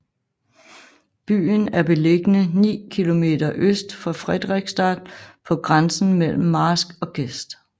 Byen er beliggende ni kilometer øst for Frederiksstad på grænsen mellem marsk og gest